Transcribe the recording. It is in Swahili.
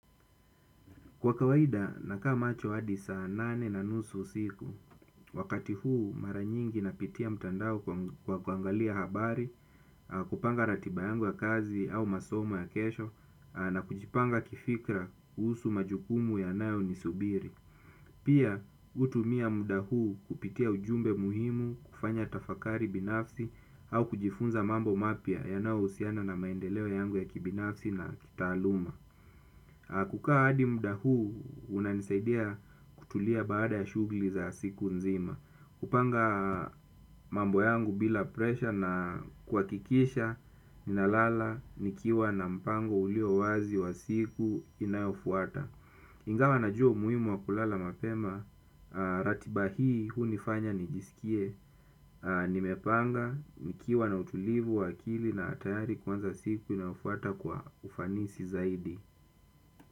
Kwa kawaida, nakaa macho hadi saa nane na nusu usiku, wakati huu mara nyingi napitia mtandao kwa kuangalia habari, kupanga ratiba yangu ya kazi au masomo ya kesho, na kujipanga kifikra kuhusu majukumu yanayonisubiri. Pia, hutumia muda huu kupitia ujumbe muhimu, kufanya tafakari binafsi, au kujifunza mambo mapya yanayohusiana na maendeleo yangu ya kibinafsi na kitaaluma. Kukaa hadi muda huu unanisaidia kutulia baada ya shughuli za siku nzima. Kupanga mambo yangu bila presha na kuhakikisha ninalala nikiwa na mpango ulio wazi wa siku inayofuata. Ingawa najua umuhimu wa kulala mapema ratiba hii hunifanya nijisikie. Nimepanga nikiwa na utulivu wa akili na tayari kuanza siku inayofuata kwa ufanisi zaidi.